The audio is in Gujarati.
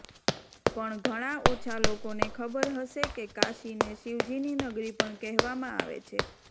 પણ ઘણા ઓછા લોકોને ખબર હશે કે કાશીને શિવજીની નગરી પણ કહેવામાં આવે છે